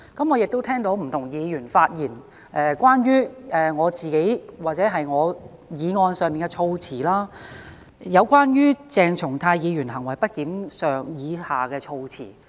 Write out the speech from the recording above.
我亦聽到不同議員的發言，關乎我的議案內有關鄭松泰議員行為不檢的措辭。